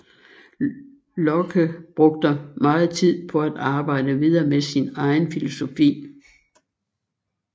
Locke brugte meget tid på at arbejde videre med sin egen filosofi